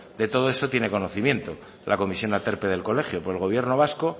de todo eso tiene conocimiento la comisión aterpe del colegio por el gobierno vasco